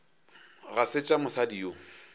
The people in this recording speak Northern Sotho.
ga se tša mosadi yo